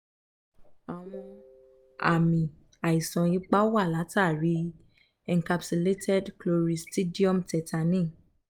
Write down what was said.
àwọn àmì àìsàn ipá wá látàrí i encapsulated cloristridium tetani